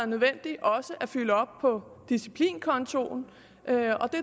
nødvendigt også at fylde op på disciplinkontoen og jeg